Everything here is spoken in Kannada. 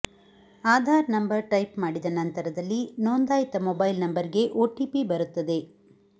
ಆಧಾರ್ ನಂಬರ್ ಟೈಪ್ ಮಾಡಿದ ನಂತರದಲ್ಲಿ ನೋಂದಾಯಿತ ಮೊಬೈಲ್ ನಂಬರ್ ಗೆ ಒಟಿಪಿ ಬರುತ್ತದೆ